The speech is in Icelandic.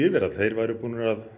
væru búnir að